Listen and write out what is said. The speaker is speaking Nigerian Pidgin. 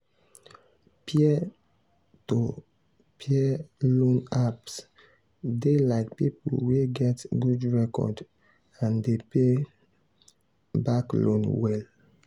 peer-to-peer loan apps dey like people wey get good record and dey pay back loan well.